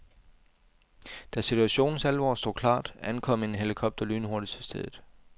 Da situationens alvor stod klart, ankom en helikopter lynhurtigt til stedet.